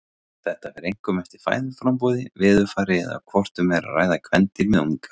Þetta fer einkum eftir fæðuframboði, veðurfari eða hvort um er að ræða kvendýr með unga.